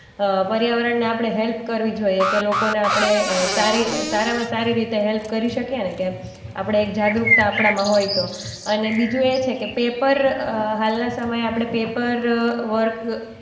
અ પર્યાવરણને આપણે હેલ્પ કરવી જોઈએ કે લોકોને આપણે અ સારી અ સારામાં સારી રીતે હેલ્પ કરી શકીએ ને કે આપણે એક જાગૃતતા આપણામાં હોય તો અને બીજું એ છે કે પેપર અ હાલનાં સમયે આપણે પેપર